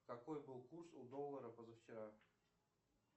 какой был курс у доллара позавчера